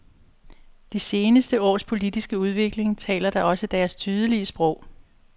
De seneste års politiske udvikling taler da også deres tydelige sprog.